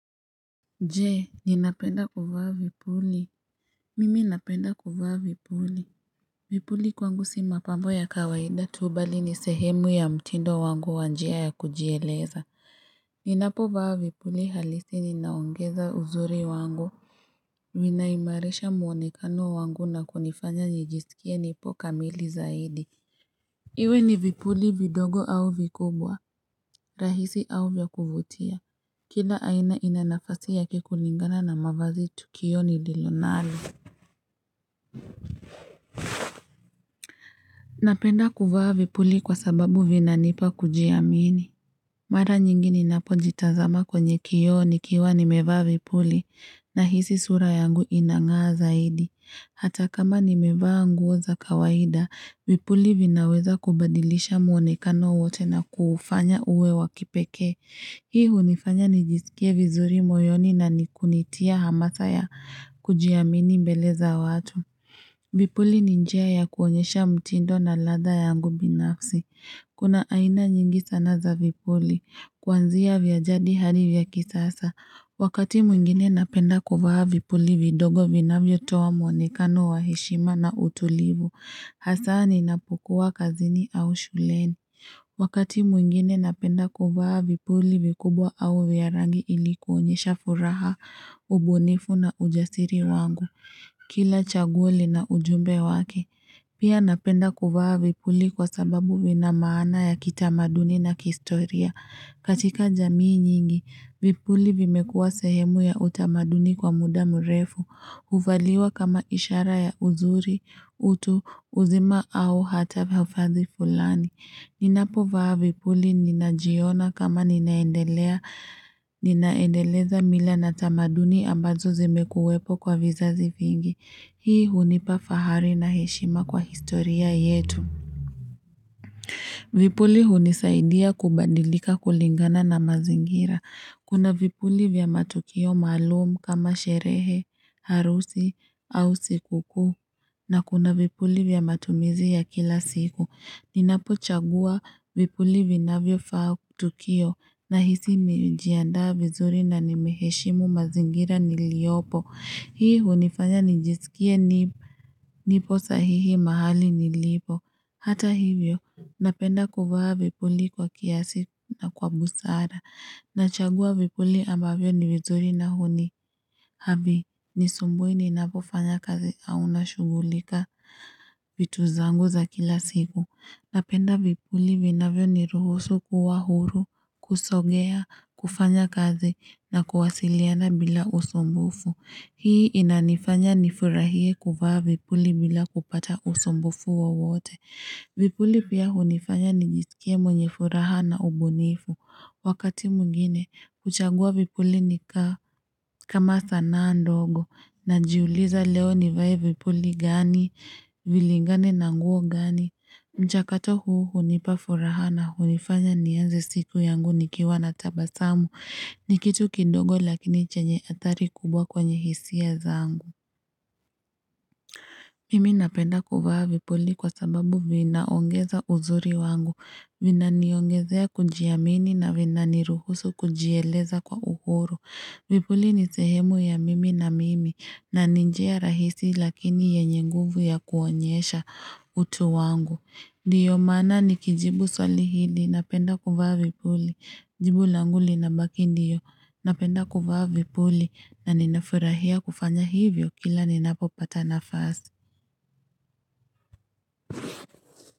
Je ninapenda kuvaa vipuli Mimi napenda kuvaa vipuli Vipuli kwangu si mapambo ya kawaida tu bali ni sehemu ya mtindo wangu wa njia ya kujieleza Ninapovaa vipuli halisi ninaongeza uzuri wangu ninaimaresha muonekano wangu na kunifanya nijisikie nipo kamili zaidi Iwe ni vipuli vidogo au vikubwa rahisi au vya kuvutia Kila aina ina nafasi ya kulingana na mavazi kwa tukio lolote. Napenda kuvaa vipuli kwa sababu vinawezesha kujiamini. Mara nyingi ninapojitazama kwenye kioo nikiwa nimevaa vipuli na hisi sura yangu inangaa zaidi. Hata kama nimevaa nguo za kawaida, vipuli vinaweza kubadilisha mwonekano wote na kufanya uwe wakipeke. Hii hunifanya nijisikie vizuri moyoni na kunitia hamasa ya kujiamini mbele za watu. Vipuli ni njia ya kuonyesha mtindo na ladha yangu binafsi. Kuna aina nyingi sana za vipuli. Kwanzia vya jadi hadi vya kisasa. Wakati mwingine napenda kuvaa vipuli vidogo vinavyotoa mwonekano wa heshima na utulivu. Hasa ninapokua kazini au shuleni. Wakati mwingine napenda kuvaa vipuli vikubwa au vya rangi ili kuonyesha furaha, ubunifu na ujasiri wangu. Kila chaguo lina ujumbe wake. Pia napenda kufaa vipuli kwa sababu vina maana ya kitamaduni na kihistoria. Katika jamii nyingi, vipuli vimekuwa sehemu ya utamaduni kwa muda mrefu. Huvaliwa kama ishara ya uzuri, utu, uzima au hata vya hadhi fulani. Ninapovaa vipuli ninajiona kama ninaendeleza mila na tamaduni ambazo zimekuwepo kwa vizazi vingi. Hii hunipa fahari na heshima kwa historia yetu. Vipuli hunisaidia kubadilika kulingana na mazingira. Kuna vipuli vya matokeo maalum kama sherehe, arusi au sikukuu. Na kuna vipuli vya matumizi ya kila siku. Ninapochagua vipuli vinavyofaa tukio na hisi nimejiandaa vizuri na nimeheshimu mazingira niliyopo. Hii hunifanya nijisikie nipo sahihi mahali nilipo. Hata hivyo, napenda kuvaa vipuli kwa kiasi na kwa busara. Nachagua vipuli ambavyo ni vizuri na Havinisumbui ninapofanya kazi au nashugulika vitu zangu za kila siku. Napenda vipuli vinavyo ni ruhusu kuwa huru, kusogea, kufanya kazi na kuwasiliana bila usumbufu. Hii inanifanya nifurahie kuvaa vipuli bila kupata usumbufu wowote. Vipuli pia hunifanya nijisikie mwenye furaha na ubunifu. Wakati mwingine, kuchagua vipuli ni kama sanaa ndogo najiuliza leo nivae vipuli gani, vilingane na nguo gani. Mchakato huu hunipa furaha na hunifanya nianze siku yangu nikiwa na tabasamu ni kitu kidogo lakini chenye athari kubwa kwenye hisia zangu. Mimi napenda kuvaa vipuli kwa sababu vinaongeza uzuri wangu. Vina niongezea kujiamini na vina niruhusu kujieleza kwa uhuru. Vipuli ni sehemu ya mimi na mimi na ni njia rahisi lakini yenye nguvu ya kuonyesha utu wangu. Ndiyo maana nikijibu swali hii napenda kuvaa vipuli. Jibu langu lina baki ndiyo napenda kuvaa vipuli na ninafurahia kufanya hivyo kila ninapopata nafasi.